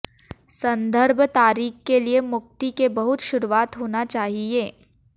संदर्भ तारीख के लिए मुक्ति के बहुत शुरुआत होना चाहिए